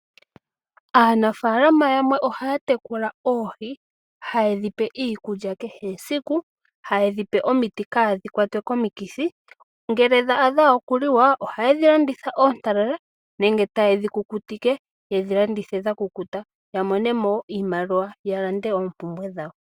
Aanafaalama yamwe ohaya tekula oohi hayedhi pe iikulya kehe esiku, hayedhi pe omiti kadhi kwatwe komikithi, ngele dha adha okuliwa ohayedhi landitha oontalala nenge tayedhi kukutike yedhi landithe dha kukuta ya monemo iimaliwa ya lande oompumbwe dhawo.